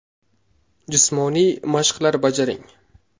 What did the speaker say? Jismoniy mashqlar bajaring.